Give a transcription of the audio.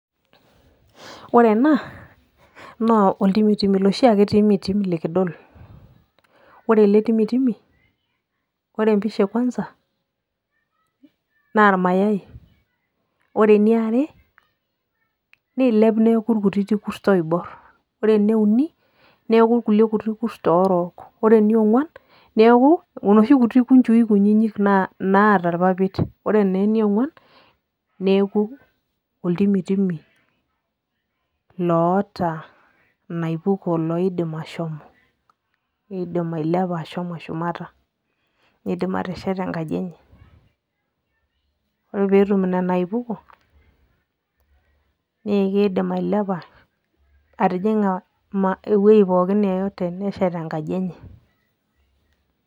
ore ena naa oltimitimi, iloshi ake timitim likidol. ore ele timitimi, ore empisha e kwanza naa irmayai, ore eniare. niilep neeku irkutitik kurt oibor, ore eniuni neeku irkulie kuti kurt orook. ore eniong'uan neeku inoshi kuti kunjui kunini, naata irpapit. ore naa eniong'uan, neeku oltimitimi, loota inaipuko. loidim ashomo. loidim ailepa. ashomo shumata. neidim atesheta enkaji enye. ore pee etum nena aipuko nee kidim ailepa atijinga ewuei pookin yeyote neshet enkaji enye.